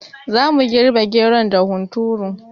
Zamu girɓi geron da hunturu